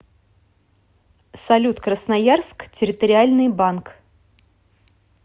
салют красноярск территориальный банк